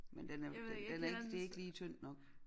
Men den er den er ikke det ikke lige tynd nok